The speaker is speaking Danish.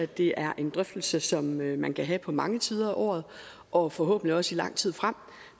det er en drøftelse som man kan have på mange tider af året og forhåbentlig også i lang tid frem